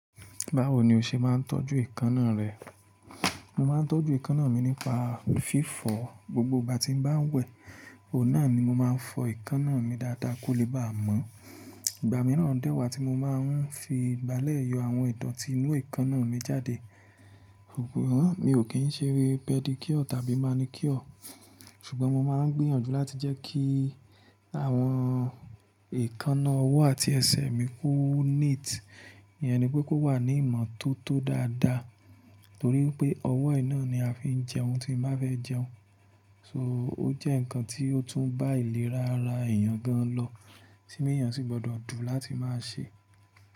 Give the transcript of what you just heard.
Báwo ni o ṣe má n tọ́jú ekana rẹ? Mo ma n tọ́jú ekanna mi nípa fífọ̀ gbogbo ìgbà tí n bá n wẹ̀. Ò náà ni mo má a n fọ ekanna mi dáadáa kó lè bá mọ́. Ìgbà mìíràn dẹ́wàá tí mo ma ń fi ìgbálẹ́ yọ àwọn ìdotí inú ekanna mi jáde. Mi ò kí n ṣe rí pedicure tàbí manicure. Ṣùgbọ́n mo ma ń gbìyànjú láti jẹ́ kí àwọn ìkaná ọwọ́ àti ẹsẹ̀ mi ko neat, iyẹn ni pé kó wà ní ìmọ́tótó dáadáa torí pé ọwọ́ iná ni a fi ń jẹ ohun tí n bá fẹ́ jẹun, so ó jẹ́ ǹkan tí ó tún bá ìlera ara èèyàn gan lọ, tí èèyàn sì gbọdọ̀ dùn láti ma ṣe.